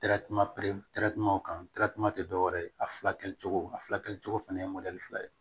kan tɛ dɔwɛrɛ ye a fila kɛ cogo a fila kɛ cogo fɛnɛ fila ye